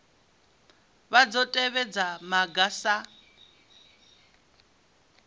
vha dzo tevhedza maga sa